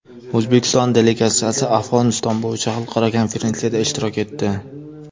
O‘zbekiston delegatsiyasi Afg‘oniston bo‘yicha xalqaro konferensiyada ishtirok etdi.